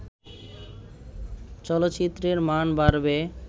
চলচ্চিত্রের মান বাড়বে